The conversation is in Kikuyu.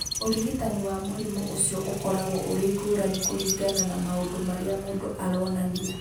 Ũrigitani wa mũrimũ ũcio ũkoragwo ũrĩ ngũrani kũringana na maũndũ marĩa mũndũ aronania.